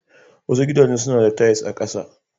Wasu gidajen suna da tiles a ƙasa.